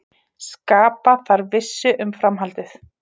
Skapa þarf vissu um framhaldið